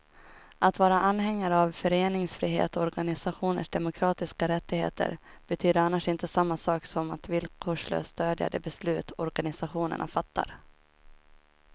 Att vara anhängare av föreningsfrihet och organisationers demokratiska rättigheter betyder annars inte samma sak som att villkorslöst stödja de beslut organisationerna fattar.